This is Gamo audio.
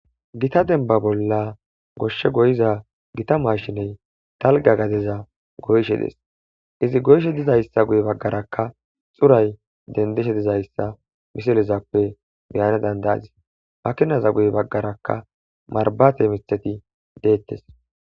gita denba bolla goshshe goyiza gita mashiney talga gadeza goyshe des izi goyshe dizayssa guye baggarakka xuray dendeshe dizayssa misilezappe beyane dandaazi makinaza guye baggaraka marbate miteti deettes